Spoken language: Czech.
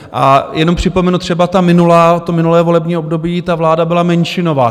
A jenom připomenu třeba ta minulá, to minulé volební období, ta vláda byla menšinová.